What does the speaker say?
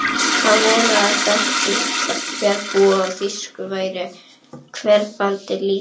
Hann vonaði að þekking fjarðarbúa á þýsku væri hverfandi lítil.